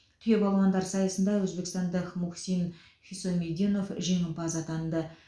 түйе балуандар сайысында өзбекстандық мухсин хисомидинов жеңімпаз атанды